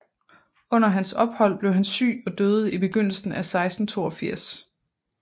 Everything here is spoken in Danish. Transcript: Under hans ophold blev han syg og døde i begyndelsen af 1682